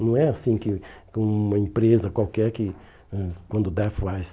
Não é assim que que uma empresa qualquer, que eh quando der, faz.